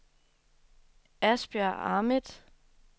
Asbjørn Ahmed